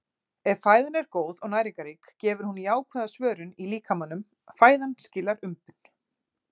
Ef fæðan er góð og næringarrík gefur hún jákvæða svörun í líkamanum- fæðan skilar umbun.